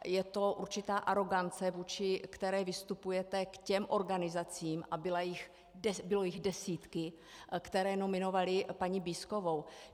Je to určitá arogance, vůči které vystupujete k těm organizacím, a byly jich desítky, které nominovaly paní Bízkovou.